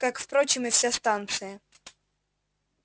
как впрочем и вся станция